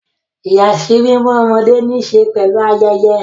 Ìyàsímímọ́ ọmọdé ní í ṣe pẹ̀lú ayẹyẹ.